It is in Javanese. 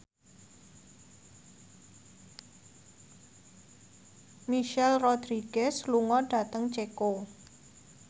Michelle Rodriguez lunga dhateng Ceko